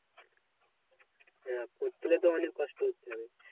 হ্যাঁ পড়তে গেলে তো অনেক কষ্ট করতে হবে।